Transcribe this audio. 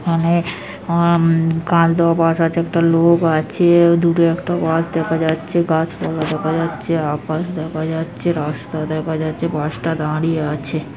অনে অ-অ-ম কালবো বাস আছে একটা লোক আছে-এ দুটো একটা বাস দেখা যাচ্ছে গাছ পালা দেখা যাচ্ছে আকাশ দেখা যাচ্ছে রাস্তা দেখা যাচ্ছে বাস টা দাঁড়িয়ে আছে।